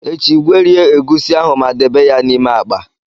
Echi, gwerie egusi ahụ ma debe ya n'ime akpa